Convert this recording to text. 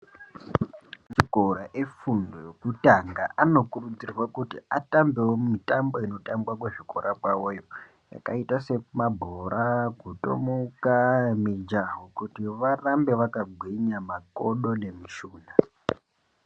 Akowa efundo yekutanga anokurudzirwa kuti atambeo mitambo inotambwa kuzvikora kwavoyoo yakaita semabhora jutomuka mijaho kuti varambe vakagwinya makodo nemishuna.